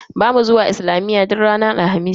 Bamu zuwa islamiyya duk ranar Alhamis.